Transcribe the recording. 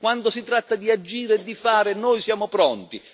Quando si tratta di agire e di fare, noi siamo pronti